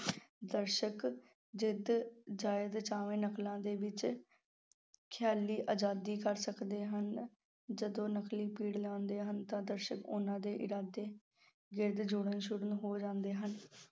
ਦਰਸ਼ਕ ਜਦ, ਜਦ ਚਾਹਵੇ ਨਕਲਾਂ ਦੇ ਵਿੱਚ ਖਿਆਲੀ ਆਜ਼ਾਦੀ ਕਰ ਸਕਦੇ ਹਨ, ਜਦੋਂ ਨਕਲੀ ਪਿੜ ਲਾਉਂਦੇ ਹਨ ਤਾਂ ਦਰਸ਼ਕ ਉਹਨਾਂ ਦੇ ਇਰਦ-ਗਿਰਦ ਜੁੜਨੇ ਸ਼ੁਰੂ ਹੋ ਜਾਂਦੇ ਹਨ।